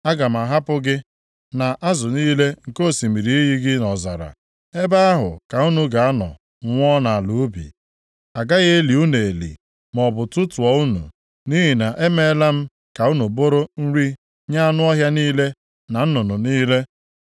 Aga m ahapụ gị na azụ niile nke osimiri iyi gị nʼọzara, ebe ahụ ka unu ga-anọ nwụọ nʼala ubi, a gaghị eli unu eli maọbụ tụtụọ unu, nʼihi na emeela m ka unu bụrụ nri nye anụ ọhịa niile, na nnụnụ niile.